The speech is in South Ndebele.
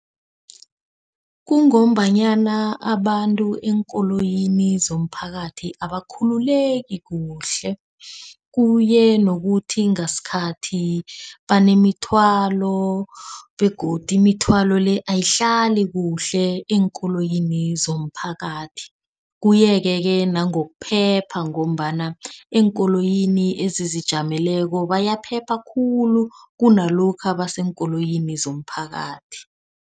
Kungombanyana abantu eenkoloyini zomphakathi abakhululeko kuhle. Kuye nokuthi ngasikhathi banemithwalo begodu imithwalo le ayihlali kuhle eenkoloyini zomphakathi. Kuye-ke ke nangokuphepha ngombana eenkoloyini ezizijameleko bayaphepha khulu kunalokha baseenkoloyini zomphakathi.